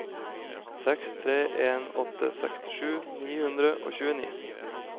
seks tre en åtte sekstisju ni hundre og tjueni